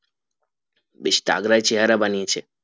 বেশ তাগড়া চেহেরা বানিয়েছে